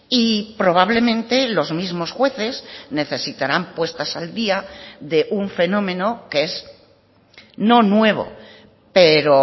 y probablemente los mismos jueces necesitarán puestas al día de un fenómeno que es no nuevo pero